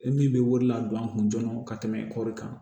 E min bɛ wele ladon an kun joona ka tɛmɛ kɔi kan